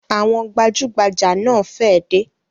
Àwọn gbajugbaja náà fẹ dé